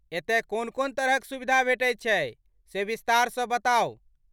एतय कोन कोन तरहक सुविधा भेटैत छै, से विस्तारसँ बताउ।